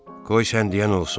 Qoy sən deyən olsun.